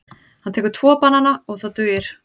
Hann tekur tvo banana og það dugir.